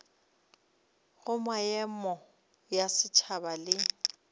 go meago ya setšhaba le